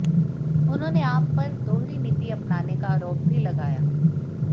उन्होंने आप पर दोहरी नीति अपनाने का आरोप भी लगाया